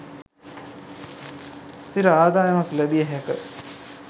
ස්ථිර ආදායමක් ලැබිය හැක